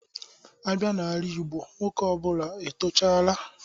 A bịa n'ala igbo, nwoke ọ bụla tochara...